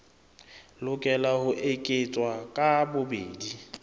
lokela ho eketswa ka bobedi